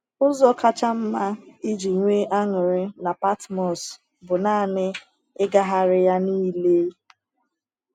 Ụzọ kacha mma iji nwee anụrị na Patmos bụ nanị ịgagharị ya niile.